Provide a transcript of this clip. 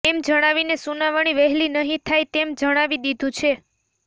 એમ જણાવીને સુનાવણી વહેલી નહીં થાય તેમ જણાવી દીધું છે